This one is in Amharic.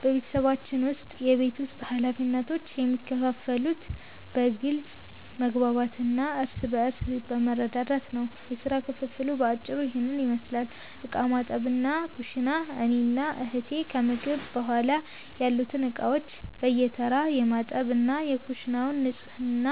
በቤተሰባችን ውስጥ የቤት ውስጥ ኃላፊነቶች የሚከፋፈሉት በግልጽ መግባባት እና እርስ በርስ በመረዳዳት ነው። የሥራ ክፍፍሉ በአጭሩ ይህንን ይመስላል፦ ዕቃ ማጠብና ኩሽና፦ እኔና እህቴ ከምግብ በኋላ ያሉትን ዕቃዎች በየተራ የማጠብ እና የኩሽናውን ንጽህና